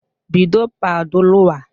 Bido paduluwa